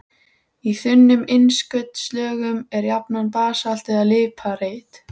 Í þunnum innskotslögum er jafnan basalt eða líparít.